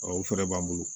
o fɛɛrɛ b'an bolo